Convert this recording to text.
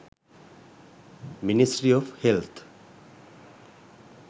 ministry of health